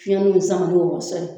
Fiɲɛn nu sama ni wlɔsɔ ye